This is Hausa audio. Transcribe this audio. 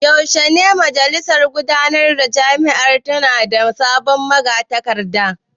Yaushe ne majalisar gudanarwar jami’ar za ta nada sabon magatakarda?